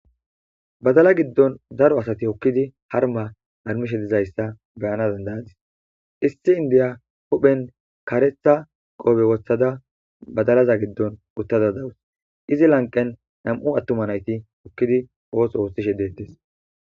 badala giddon zaro asati hokkidi harma harmishe dizayssa beyana dandayadis issi indiya hophen kaaretha qoobe woththada badalaza giddon uttada dawus izi lanqen nam7u attuma nayti hokkidi oos ooththishe deettes